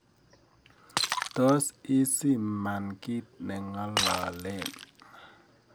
Tos isiman kiit nengololen